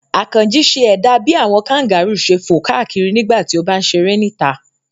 Àkànjí ṣe ẹ̀dà bí àwọn kangaru ṣe fò káàkiri nígbà tí ó bá ń ṣeré níta.